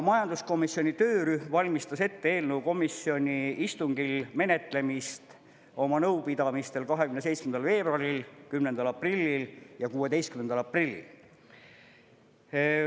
Majanduskomisjoni töörühm valmistas ette eelnõu komisjoni istungil menetlemist oma nõupidamistel 27. veebruaril, 10. aprillil ja 16. aprillil.